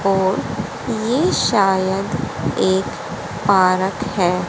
और ये शायद एक पार्क है।